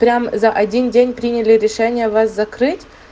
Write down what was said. прям за один день приняли решение вас закрыть